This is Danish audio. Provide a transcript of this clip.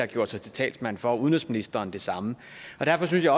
gjorde sig til talsmand for tidligere og udenrigsministeren det samme derfor synes jeg